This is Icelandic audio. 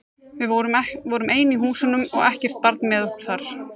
Við vorum ein í húsunum og ekkert barn með okkur þar.